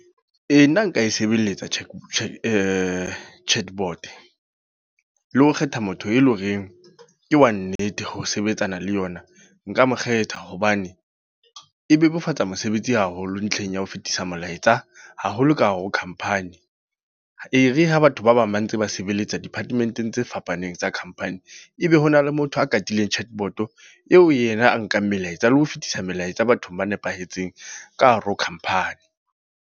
Ee, nna nka e sebeletsa Chat, Chatbot. Le ho kgetha motho e leng horeng, ke wa nnete ho sebetsana le yona. Nka mo kgetha, hobane e bebofatsa mosebetsi haholo ntlheng ya ho fetisa molaetsa haholo ka hare ho company. E re ha batho ba bang ba ntse ba sebeletsa department-eng tse fapaneng tsa company. E be hona le motho a katileng Chatbot eo yena a nkang melaetsa le ho fetisa melaetsa bathong ba nepahetseng ka hare ho company.